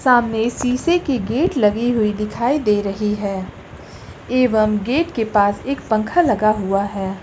सामने शीशे के गेट लगे हुए दिखाई दे रही हैं एवं गेट के पास एक पंख लगा हुआ है।